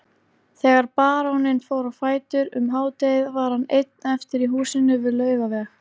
Þegar baróninn fór á fætur um hádegið var hann einn eftir í húsinu við Laugaveg.